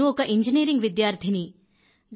నేను ఒక ఇంజినీరింగ్ విద్యార్థినిని